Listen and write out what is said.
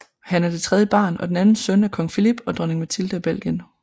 Han er det tredje barn og den anden søn af Kong Philippe og Dronning Mathilde af Belgien